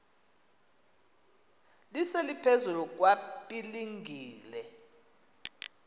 lise liphezulu kwapilingile